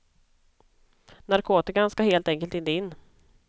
Narkotikan ska helt enkelt inte in.